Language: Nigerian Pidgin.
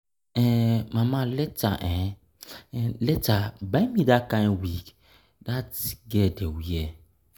um Mama abeg later later buy me dat kin wig dat um girl dey wear